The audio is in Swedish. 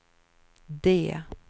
D